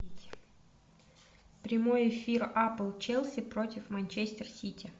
прямой эфир апл челси против манчестер сити